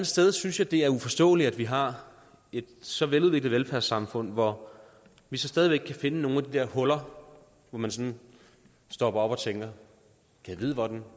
sted synes jeg det er uforståeligt at vi har et så veludviklet velfærdssamfund hvor vi stadig væk kan finde nogle af de der huller hvor man sådan stopper op og tænker gad vide hvordan